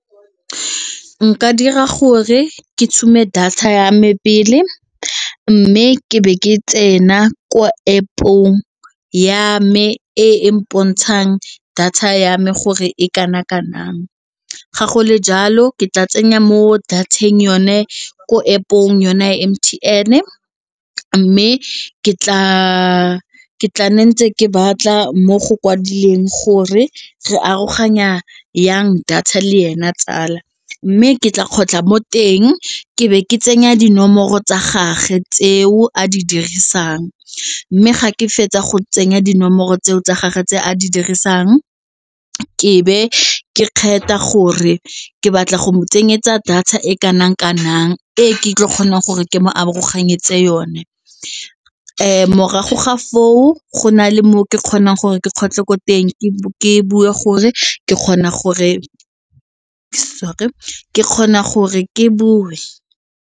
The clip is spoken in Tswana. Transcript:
Nka dira gore ke tshume data ya me pele mme ke be ke tsena ko App-ong ya me e mpona ntshang data ya me gore e kana kanang ga go le jalo ke tla tsenya mo data-eng yone ko App-ong yone M_T_N mme ke tla ntse ke batla mo go kwadileng gore re aroganya jang data le ena tsala mme ke tla kgotlha mo teng ke be ke tsenya dinomoro tsa gagwe tseo a di dirisang mme ga ke fetsa go tsenya dinomoro tseo tsa gage tse a di dirisang ke be ke kgetha gore ke batla go mo tsenyetsa data e kanang kanang ee ke tlo kgonang gore ke mo aroganyetse yone morago ga foo go na le mo ke kgonang gore ke kgotlhe ko teng ke gore ke kgona gore sorry ke kgona gore ke bue.